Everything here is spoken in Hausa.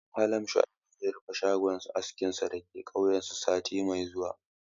Malam Shuaib zai rufe shagon askinsa da ke kauyensu sati mai zuwa